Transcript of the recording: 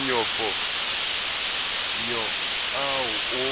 manyofonyo ao o